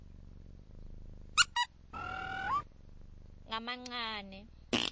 ngamancane